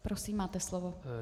Prosím, máte slovo.